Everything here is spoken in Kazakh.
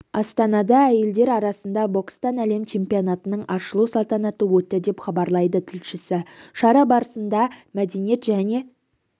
астанада әйелдер арасында бокстан әлем чемпионатының ашылу салтанаты өтті деп хабарлайды тілшісі шара барысында мәдениет және